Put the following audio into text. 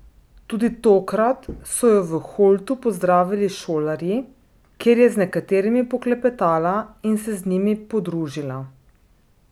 Tudi tokrat so jo v Holtu pozdravili šolarji, kjer je z nekaterimi poklepetala in se z njimi podružila.